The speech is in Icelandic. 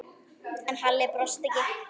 En Halli brosti ekki.